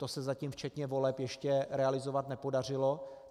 To se zatím, včetně voleb, ještě realizovat nepodařilo.